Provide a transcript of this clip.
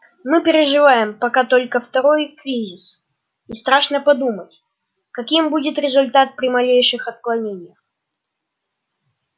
мы переживаем пока только второй кризис и страшно подумать каким будет результат при малейших отклонениях